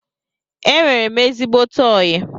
Enwere m ezigbote oyi